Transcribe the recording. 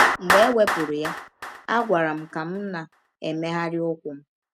Mgbe e wepụrụ ya, a gwara m ka m na - emegharị ụkwụ m.